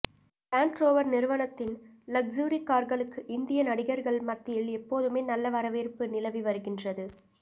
land Rover நிறுவனத்தின் luxury கார்களுக்கு இந்திய நடிகர்கள் மத்தியில் எப்போதுமே நல்ல வரவேற்பு நிலவி வருகின்றது